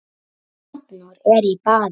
Arnór er í baði